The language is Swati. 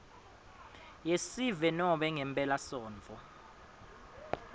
yesive nobe ngemphelasontfo